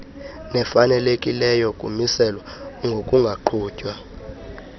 nefalekileyo kumiselwa ngokungaqhutywa